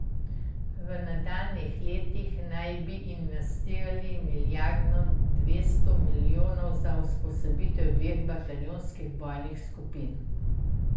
V nadaljnjih letih naj bi investirali milijardo dvesto milijonov za usposobitev dveh bataljonskih bojnih skupin.